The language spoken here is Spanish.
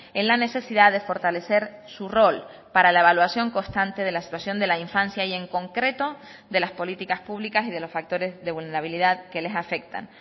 en la necesidad de fortalecer su rol para la evaluación constante de la situación de la infancia y en concreto de las políticas públicas y de los factores de vulnerabilidad que les afectan